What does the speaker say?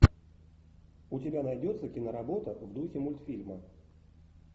у тебя найдется киноработа в духе мультфильма